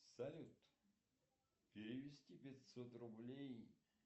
салют перевести пятьсот рублей